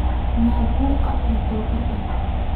Nio buuqa nalakordaaf.